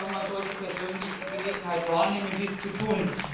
Man sollte persönlich die Gelegenheit wahrnehmen, dies zu tun.